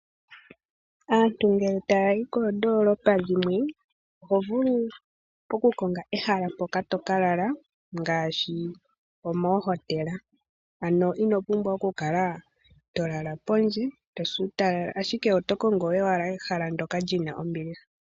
Aantu ngele taa yi koondoolopa dhimwe, oho vulu okukonga ehala mpoka to ka lala, ngaashi moohotela. Ano ino pumbwa okukala to lala pondje, to si uutalala, ashike oto kongo owala ehala ndyoka li na ombiliha.